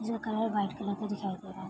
ज्ह colour white colour का दिखाई दे रहा है।